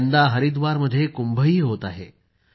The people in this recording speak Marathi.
यंदा हरिव्दारमध्ये कुंभही होत आहे